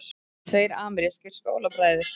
Tveir amerískir skólabræður